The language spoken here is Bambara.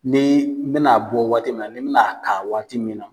Ni n bɛna bɔ waati min na, n bɛna ka waati min na.